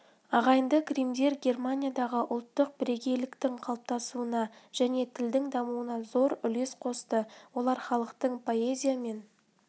ағайынды гриммдер германиядағы ұлттық бірегейліктің қалыптасуына және тілдің дамуына зор үлес қосты олар халықтық поэзия мен